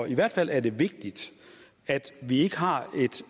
i hvert fald er det vigtigt at vi ikke har et